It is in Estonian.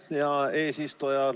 Aitäh, hea eesistuja!